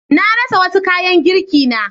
Na rasa wasu kayan girkina.